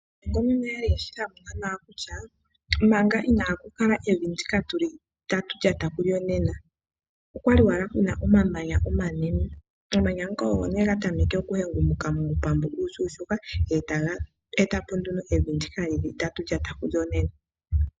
Aanongononi oyali yeshi thamuna nawa kutya, manga inaaku kala evi ndika tuli tatu lyata kulyo nena, okwali owala kuna omamanya omanene, omamanya ngoka ogo nee gatameke oku hengumuka muupambu uushuushuka, etaga etapo evi ndika lyili tatu lyata kulyo nena.